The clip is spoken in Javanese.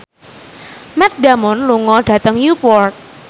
Matt Damon lunga dhateng Newport